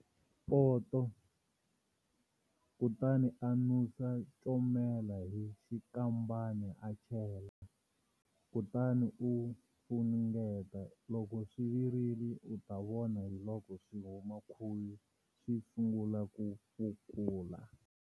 Poto, kutani a nusa comela hi xinkambana a chela, kutani u funengeta. Loko swi virile u ta vona hiloko swi huma khuvi swi sungula ku phukula.